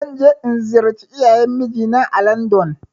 Zan je in ziyarci iyayen mijinaa ã landon.